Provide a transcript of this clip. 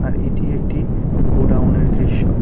আর এটি একটি গোডাউনের দৃশ্য।